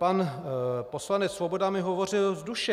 Pan poslanec Svoboda mi hovořil z duše.